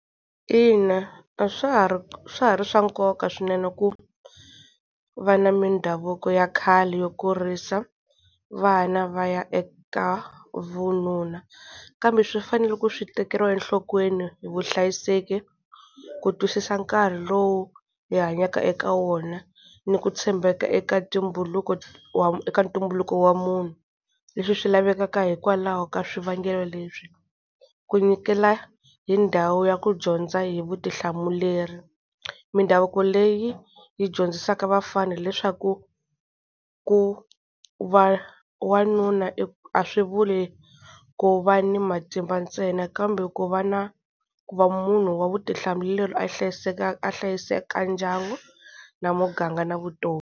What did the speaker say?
Ina a swa ha ri swa ha ri swa nkoka swinene ku va na mindhavuko ya khale, yo kurisa vana va ya eka vununa. Kambe swi fanele ku swi tekeriwa enhlokweni hi vuhlayiseki ku twisisa nkarhi lowu hi hanyaka eka wona, ni ku tshembaka eka tumbuluko wa eka ntumbuluko wa munhu. Leswi swi lavekaka hikwalaho ka swivangelo leswi. Ku nyikela hi ndhawu ya ku dyondza hi vutihlamuleri, mindhavuko leyi yi dyondzisaka vafana leswaku ku va wanuna a swi vuli ku va ni matimba ntsena, kambe ku va na ku va munhu wa vutihlamuleri a yi a hlayisaka ndyangu na muganga na vutomi.